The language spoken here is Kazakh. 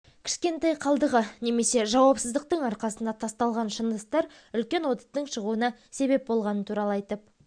кішкентай қалдығы немесе жауапсыздықтың арқасында тасталған шыны ыдыстар үлкен оттың шығуына себеп болғанын туралы айтып